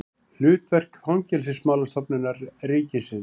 Hlutverk Fangelsismálastofnunar ríkisins.